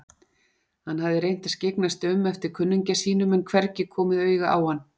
Hann hafði reynt að skyggnast um eftir kunningja sínum en hvergi komið auga á hann.